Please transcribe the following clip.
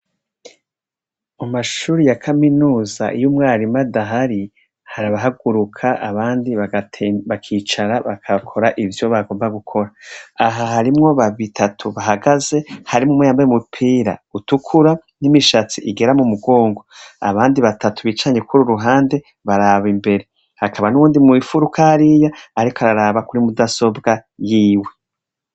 Mu mashuri ya kaminuza iyo umwarimu adahari, hari abahaguruka abandi bakicara bagakora ivyo bagomba gukora, aha harimwo batatu bahagaze, harimwo umwe yambaye umupira utukura n'imishatsi igera mu mugongo, abandi batatu bicanye kuri uru ruhande baraba imbere, hakaba n'uwundi mw'ifuruka hariya ariko araraba kuri mudasobwa yiwe.